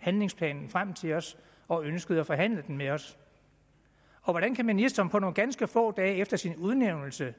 handlingsplanen frem til os og ønskede at forhandle den med os og hvordan kan ministeren nogle ganske få dage efter sin udnævnelse